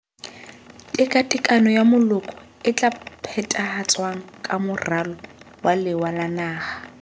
Tekatekano ya Moloko e tla phethahatswang ka Moralo wa Lewa la Naha.